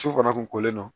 Su fana kun kolen don